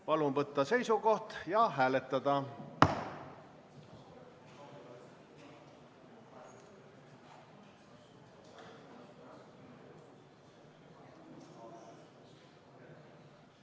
Palun võtta seisukoht ja hääletada!